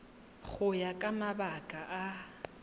go ya ka mabaka a